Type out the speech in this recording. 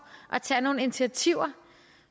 at tage nogle initiativer